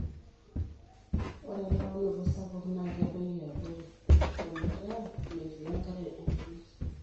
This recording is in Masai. ore elauinoto sapuk naa kedoyio abori ,ometaa metii enkare enterit